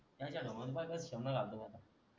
त्याचा ढुंगणात पाह्य कस शेमन घालतो आता